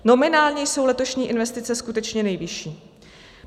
Nominálně jsou letošní investice skutečně nejvyšší.